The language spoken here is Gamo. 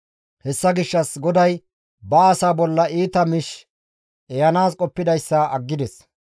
Hessa gishshas GODAY ba asaa bolla iita miish ehanaas qoppidayssa aggides.